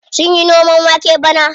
Sunyi noman wake bane.